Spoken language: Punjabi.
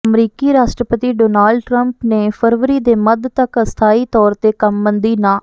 ਅਮਰੀਕੀ ਰਾਸ਼ਟਰਪਤੀ ਡੋਨਾਲਡ ਟਰੰਪ ਨੇ ਫਰਵਰੀ ਦੇ ਮੱਧ ਤੱਕ ਅਸਥਾਈ ਤੌਰ ਤੇ ਕੰਮਬੰਦੀ ਨ